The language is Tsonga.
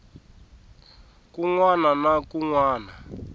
kun wana na kun wana